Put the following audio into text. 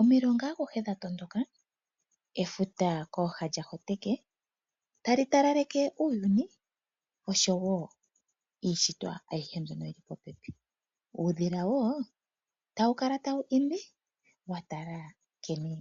Omilonga akuhe dhatondoka, efuta kooha lya hoteke tali talaleke uuyuni osho wo iishitwa ayihe mbyono yili popepi. Uudhila wo tawu kala tawu imbi wa tala nkene